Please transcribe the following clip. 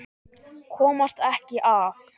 Komast ekki að.